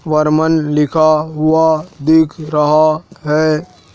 वर्मन लिखा हुआ दिख रहा है।